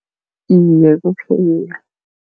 Iye,